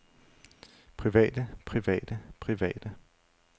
private private private